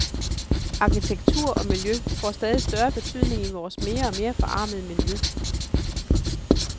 Arkitektur og miljø får stadig større betydning i vores mere og mere forarmede miljø.